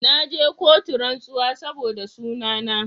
Na je kotu rantsuwa saboda suna na